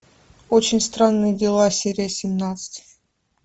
очень странные дела серия семнадцать